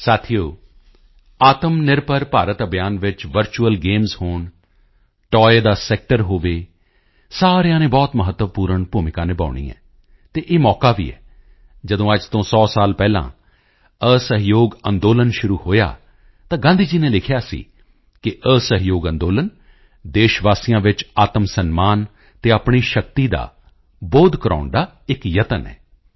ਸਾਥੀਓ ਆਤਮਨਿਰਭਰ ਭਾਰਤ ਅਭਿਯਾਨ ਵਿੱਚ virtual games ਹੋਣ ਟਾਇਜ਼ ਦਾ ਸੈਕਟਰ ਹੋਵੇ ਸਾਰਿਆਂ ਨੇ ਬਹੁਤ ਮਹੱਤਵਪੂਰਣ ਭੂਮਿਕਾ ਨਿਭਾਉਣੀ ਹੈ ਅਤੇ ਇਹ ਮੌਕਾ ਵੀ ਹੈ ਜਦੋਂ ਅੱਜ ਤੋਂ 100 ਸਾਲ ਪਹਿਲਾਂ ਅਸਹਿਯੋਗ ਅੰਦੋਲਨ ਸ਼ੁਰੂ ਹੋਇਆ ਤਾਂ ਗਾਂਧੀ ਜੀ ਨੇ ਲਿਖਿਆ ਸੀ ਕਿ ਅਸਹਿਯੋਗ ਅੰਦੋਲਨ ਦੇਸ਼ ਵਾਸੀਆਂ ਵਿੱਚ ਆਤਮਸਨਮਾਨ ਅਤੇ ਆਪਣੀ ਸ਼ਕਤੀ ਦਾ ਬੋਧ ਕਰਵਾਉਣ ਦਾ ਇੱਕ ਯਤਨ ਹੈ